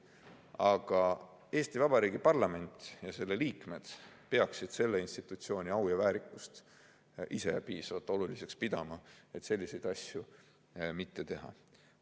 Aga Eesti Vabariigi parlament ja selle liikmed peaksid selle institutsiooni au ja väärikust ise piisavalt oluliseks pidama, et selliseid asju mitte teha.